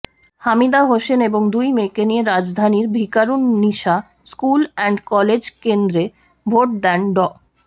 হামিদা হোসেন এবং দুই মেয়েকে নিয়ে রাজধানীর ভিকারুননিসা স্কুল অ্যান্ড কলেজ কেন্দ্রে ভোট দেন ড